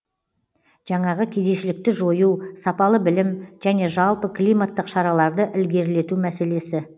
жаңағы кедейшілікті жою сапалы білім және жалпы климаттық іс шараларды ілгерілету мәселесі